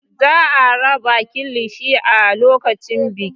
Za a raba kilishi a lokacin bikin.